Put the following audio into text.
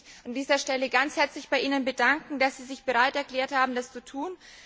Ich möchte mich an dieser Stelle ganz herzlich bei Ihnen bedanken, dass Sie sich bereit erklärt haben, das zu tun.